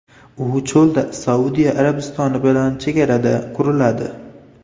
U cho‘lda, Saudiya Arabistoni bilan chegarada quriladi.